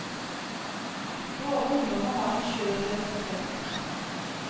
Våre ungdommer har en skjør identitet.